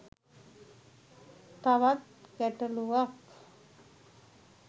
තවත් ගැටළුවක්.